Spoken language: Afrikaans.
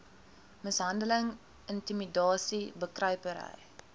mishandeling intimidasie bekruipery